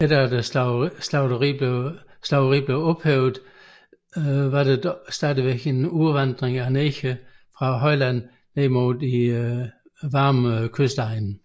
Efter slaveriets ophævelse skete der dog stadig en udvandring af negre fra højlandet mod de hede kystegne